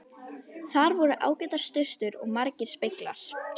Þar voru ágætar sturtur og margir speglar!